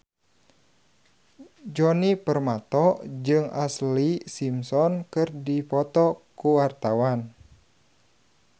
Djoni Permato jeung Ashlee Simpson keur dipoto ku wartawan